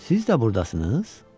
Siz də burdasınız?